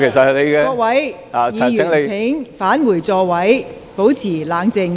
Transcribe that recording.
請各位議員返回座位，保持冷靜。